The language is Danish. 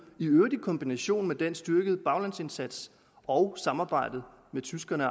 i øvrigt i kombination med den styrkede baglandsindsats og samarbejdet med tyskerne